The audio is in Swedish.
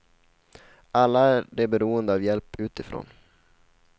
Alla är de beroende av hjälp utifrån.